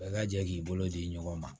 Bɛɛ ka jɛ k'i bolo di ɲɔgɔn ma